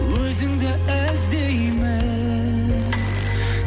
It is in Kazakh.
өзіңді іздеймін